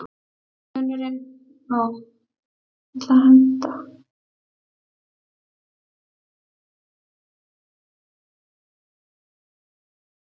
Mark benti henni á að margt af því fólki sem þau umgengjust væru viðskiptavinir hans.